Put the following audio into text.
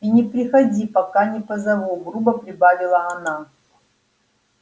и не приходи пока не позову грубо прибавила она